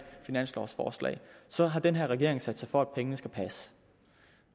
finanslovforslag så har denne regering sat sig for at pengene skal passe